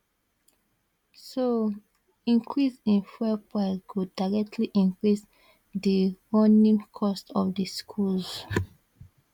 so increase in fuel price go directly increase di running cost of di schools